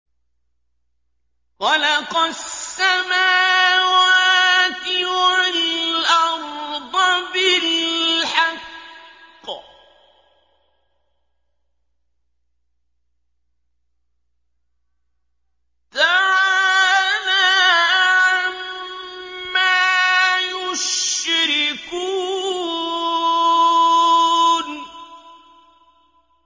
خَلَقَ السَّمَاوَاتِ وَالْأَرْضَ بِالْحَقِّ ۚ تَعَالَىٰ عَمَّا يُشْرِكُونَ